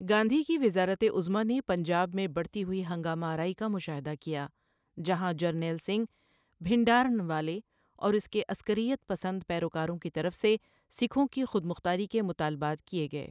گاندھی کی وزارت عظمیٰ نے پنجاب میں بڑھتی ہوئی ہنگامہ آرائی کا مشاہدہ کیا، جہاں جرنیل سنگھ بھنڈرانوالے اور اس کے عسکریت پسند پیروکاروں کی طرف سے سکھوں کی خود مختاری کے مطالبات کے گئے۔